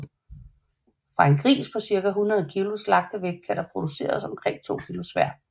Fra en gris på cirka 100 kg slagtevægt kan der produceres omkring to kilo svær